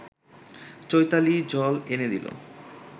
চৈতালি জল এনে দিল